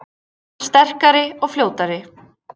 Sterkari og fljótari